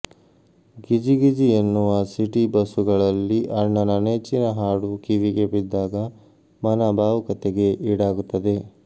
ಗಿಜಿಗಿಜಿ ಎನ್ನುವ ಸಿಟಿ ಬಸ್ಸುಗಳಲ್ಲಿ ಅಣ್ಣನ ನೆಚ್ಚಿನ ಹಾಡು ಕಿವಿಗೆ ಬಿದ್ದಾಗ ಮನ ಭಾವುಕತೆಗೆ ಈಡಾಗುತ್ತದೆ